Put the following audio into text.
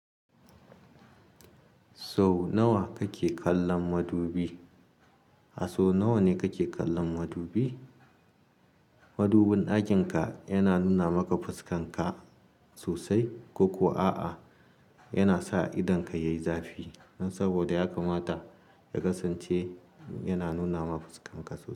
Sau nawa kake kallon madubi? A so nawa ne kake kallon madubi? Madubin ɗakin ka yana nuna maka fuskan ka sosai, ko--ko a'a, yana sa idonka yayi zafi dan saboda ya kamata ya kasance yana nuna ma fuskan ka sosai.